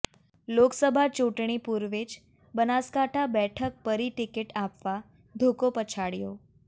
લોકસભા ચૂંટણી પૂર્વે જ બનાસકાંઠા બેઠક પરી ટિકિટ આપવા ધોકો પછાડયો